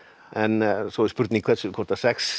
en svo spurning hvort að sex